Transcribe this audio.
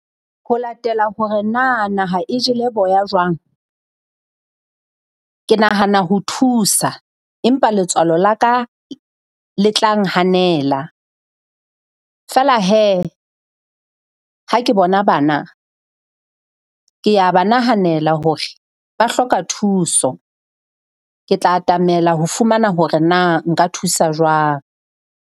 Ho latela hore na naha e jele boya jwang, ke nahana ho thusa empa letswalo la ka le tla nghanela. Feela hee ha ke bona bana, kea ba nahanela hore ba hloka thuso. Ke tla atamela ho fumana hore na nka thusa jwang.